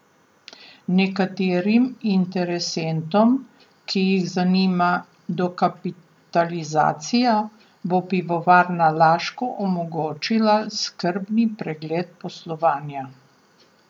Nekaterim interesentom, ki jih zanima dokapitalizacija, bo Pivovarna Laško omogočila skrbni pregled poslovanja.